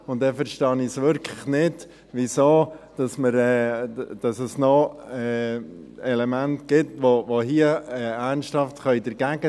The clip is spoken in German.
Dann verstehe ich wirklich nicht, weshalb es noch Elemente gibt, welche ernsthaft dagegen sein können.